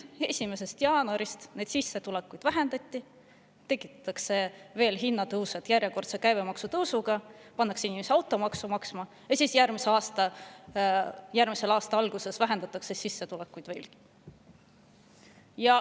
1. jaanuarist sissetulekuid vähendati, nüüd tekitatakse veel hinnatõusu järjekordse käibemaksutõusuga, pannakse inimesed automaksu maksma ja järgmise aasta alguses vähendatakse sissetulekuid veelgi.